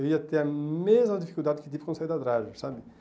Eu ia ter a mesma dificuldade que tive quando saí da, sabe?